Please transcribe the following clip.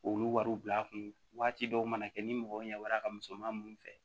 Olu wariw bila kun waati dɔw mana kɛ ni mɔgɔw ɲɛ wɛrɛ ka misɛnman mun fɛ